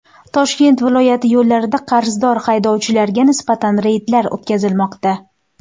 Toshkent viloyati yo‘llarida qarzdor haydovchilarga nisbatan reydlar o‘tkazilmoqda.